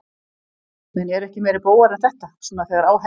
Menn eru ekki meiri bógar en þetta, svona þegar á herðir.